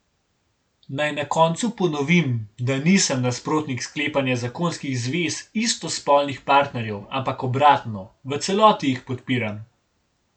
Naj na koncu ponovim, da nisem nasprotnik sklepanja zakonskih zvez istospolnih partnerjev, ampak obratno, v celoti jih podpiram.